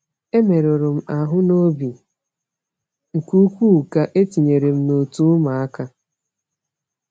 E merụrụ m ahụ n’obi nke ukwuu ka e tinyere m n’òtù ụmụaka.